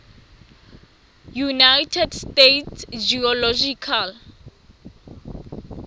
united states geological